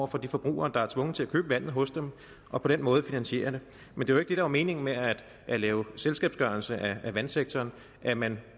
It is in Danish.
for de forbrugere der er tvunget til at købe vandet hos dem og på den måde finansiere det men det var jo ikke meningen med at lave selskabsgørelse af vandsektoren at man